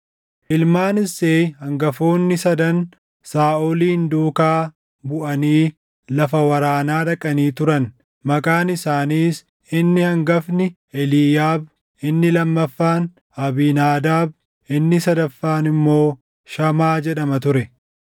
Ilmaan Isseey hangafoonni sadan Saaʼolin duukaa buʼanii lafa waraanaa dhaqanii turan; maqaan isaaniis inni hangafni Eliiyaab, inni lammaffaan Abiinaadaab, inni sadaffaan immoo Shamaa jedhama ture.